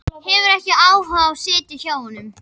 Hefur ekki áhuga á að sitja hjá honum.